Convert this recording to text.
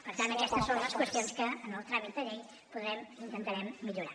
per tant aquestes són les qüestions que en el tràmit de llei podrem intentarem millorar